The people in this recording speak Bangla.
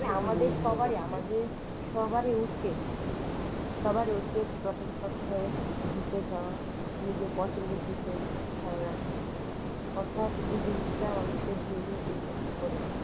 আমাদের সবারই আমাদের সবারই উচিত সবার উচিত প্রতি সপ্তাহে ঘুরতে যাওয়া নিজের পছন্দের দিকে ধান রাখা অর্থাৎ এই জিনিসটা মানুষের ব্রেনে effect করে।